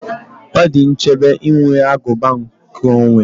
Ọ dị nchebe inwe aguba nkeonwe